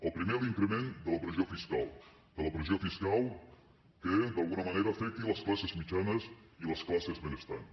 el primer l’increment de la pressió fiscal de la pressió fiscal que d’alguna manera afecti les classes mitjanes i les classes benestants